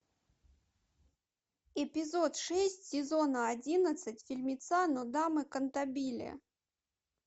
эпизод шесть сезона одиннадцать фильмеца нодамэ кантабиле